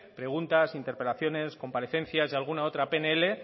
preguntas interpelaciones comparecencias y alguna otra pnl